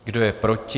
Kdo je proti?